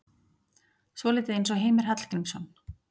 Svolítið eins og Heimir Hallgrímsson.